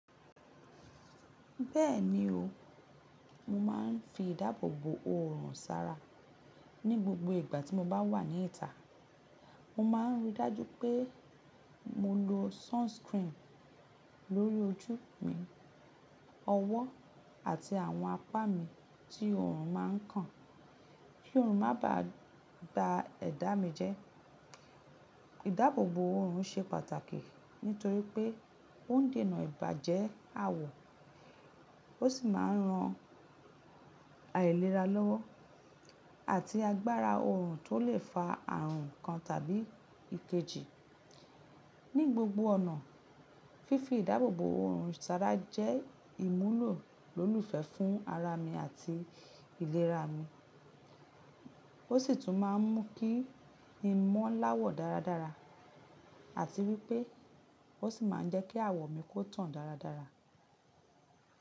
Bẹ́ẹ̀ni o, mo máa ń fi ìdáàbòbò oorùn sára ní gbogbo ìgbà tí mo bá wà ní ìta. Mo ma ń rí i dájú pé mo lo sunscreen lórí ojú mi, ọwọ́ àti àwọn apá mi tí oorun má ń kàn kí oorun má ba à gba ẹ̀dá mi jẹ́. Ìdáàbòbò oorùn ṣe pàtàkì nítorí pé ó ń dènà ìbàjẹ́ àwọ̀, ó sì máa ń ran àìlera lọ́wọ́ àti agbára oorùn tó lè fa àrùn kan tàbí ìkejì. Ní gbogbo ọ̀nà, fífi ìdáàbòbò oorùn sára jẹ́ ìmúlò lólùfẹ́ fún ara mi àti ìlera mi, ó sì tún má ń mú kí i mọ́ láwọ̀ dáradára àti wípé ó sì má ń jẹ́ kí àwọ̀ mi kó tàn dáradára.